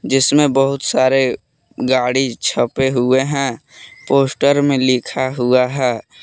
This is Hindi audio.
जिसमें बहुत सारे गाड़ी छपे हुए हैं पोस्टर में लिखा हुआ है।